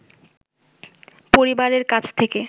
পরিবারের কাছ থেকে